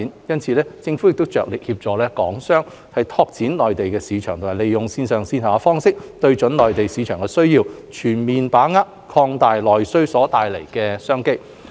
因此，政府着力協助港商拓展內銷市場及利用線上線下方式，對準內地市場的需要，全面把握擴大內需所帶來的商機。